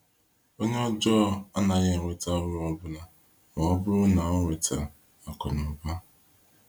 Onye ọjọọ anaghị enweta uru ọbụna ma ọ bụrụ na ọ nweta akụnụba.